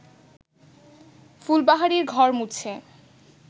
ফুলবাহারি ঘর মুছে